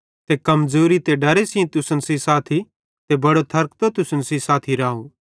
ते कमज़ोरी ते डरे सेइं तुसन सेइं साथी ते बड़ो थरकतो तुसन सेइं साथी राव